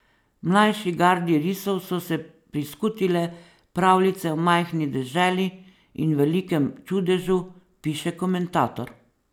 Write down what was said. Mlajši gardi risov so se priskutile pravljice o majhni deželi in velikem čudežu, piše komentator.